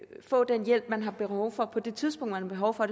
få den hjælp man har behov for og på det tidspunkt man har behov for